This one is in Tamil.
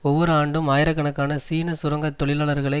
ஒவ்வொரு ஆண்டும் ஆயிரக்கணக்கான சீன சுரங்க தொழிலாளர்களை